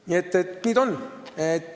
Nii see on.